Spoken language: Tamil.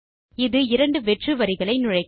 இது இரண்டு வெற்று வரிகளை நுழைக்கும்